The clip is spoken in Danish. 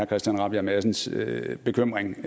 christian rabjerg madsens bekymring